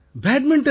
badminton